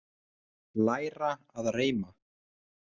Læra að reima